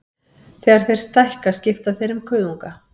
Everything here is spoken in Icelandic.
Þegar þeir stækka skipta þeir um kuðunga.